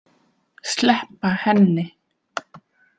Sleppa henni.